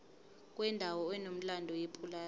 kwendawo enomlando yepulazi